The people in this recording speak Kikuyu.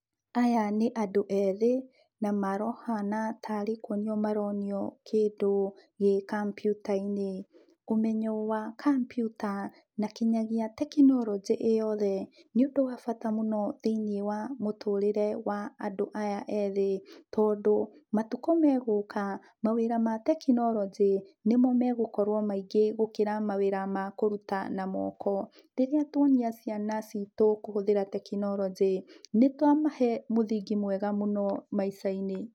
Aya nĩ andũ ethĩĩ na marahana tarĩ kũonio maronio kĩndũ gĩ kambiuta-inĩ. Ũmenyo wa kambiuta na kinyagia tekinoloje ĩĩ yothe nĩ ũndũ wa bata mũno thĩinĩĩ wa mũtũrĩre wa andũ aya ethĩĩ tondũ matũkũ me gũka, mawĩra ma tekinoloje nĩmo me gũkorwo maingĩ gũkĩra mawĩra ma kũrũta na moko. Rĩrĩa tũonia ciana citũ kũhũthĩra tekinoloje, nĩ twamahe mũthingi mwega mũno maica-inĩ.